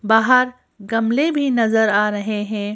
बाहर गमले भी नजर आ रहे हैं।